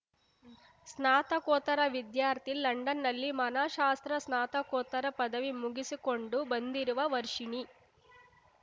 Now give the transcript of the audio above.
ಸ್ನಾತಕೋತ್ತರ ವಿದ್ಯಾರ್ಥಿ ಲಂಡನ್‌ನಲ್ಲಿ ಮನಃಶಾಸ್ತ್ರ ಸ್ನಾತಕೋತ್ತರ ಪದವಿ ಮುಗಿಸಿಕೊಂಡು ಬಂದಿರುವ ವರ್ಷಿಣಿ